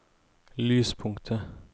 lyspunktet